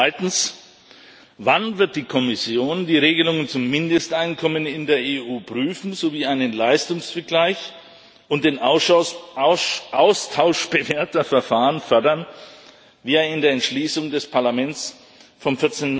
Zweitens Wann wird die Kommission die Regelungen zum Mindesteinkommen in der EU prüfen sowie einen Leistungsvergleich und den Austausch bewährter Verfahren fördern, wie es in der Entschließung des Parlaments vom